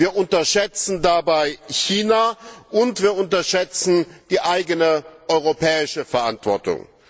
Wir unterschätzen dabei China, und wir unterschätzen die eigene europäische Verantwortung.